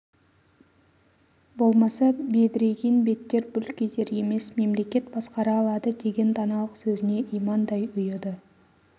болмаса бедірейген беттер бүлк етер емес мемлекет басқара алады деген даналық сөзіне имандай ұйыды